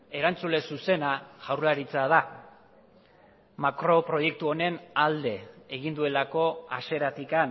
erantzule zuzena jaurlaritza da makro proiektu honen alde egin duelako hasieratik